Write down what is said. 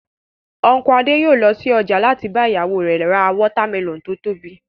Unku Adé yòó lọ sí ọjà láti bá ìyàwó rẹ̀ ra watermelon tó tóbi